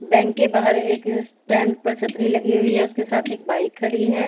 Bank के बहार एक स्टैंड पर छतरी लगी हुई है उसके साथ एक बाइक खड़ी है।